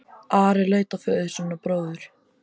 Ari leit á föður sinn og bróður.